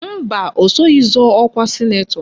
Mba, o soghi zọọ ọkwa sịnetọ